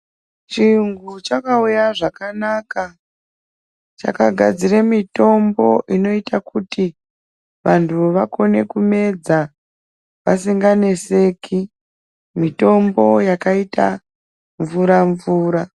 Chiyungu chakauya zvakanaka chakagadzira mutombo unoita kuti vantu vakone kumedza vasikanganeseki mutombo wakaita mvura mvura.